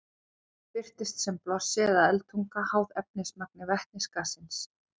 Það birtist sem blossi eða eldtunga, háð efnismagni vetnisgassins.